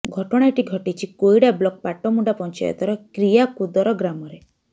ଘଟଣାଟି ଘଟିଛି କୋଇଡ଼ା ବ୍ଲକ୍ ପାଟମୁଣ୍ଡା ପଞ୍ଚାୟତର କ୍ରିୟାକୁଦର ଗ୍ରାମରେ